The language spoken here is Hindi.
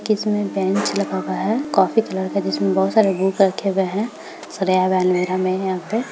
की इसमे बेंच लगा हुआ है कॉफी कलर का जिसमे बहुत सारा बुक रखे हुए है सरिया हुआ आलमीरा में है यहां पे---